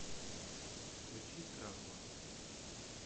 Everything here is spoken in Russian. включи травма